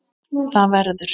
ÞAÐ VERÐUR